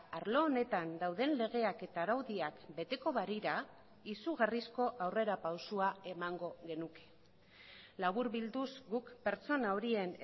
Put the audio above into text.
arlo honetan dauden legeak eta araudiak beteko balira izugarrizko aurrerapausoa emango genuke laburbilduz guk pertsona horien